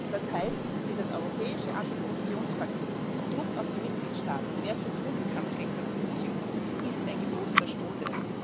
Das heißt, dieses Europäische Antikorruptionspaket mit Druck auf die Mitgliedstaaten, mehr zu tun im Kampf gegen Korruption, ist ein Gebot der Stunde.